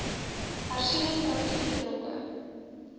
hersiene strategie betrokke